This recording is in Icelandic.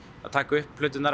að taka upp plöturnar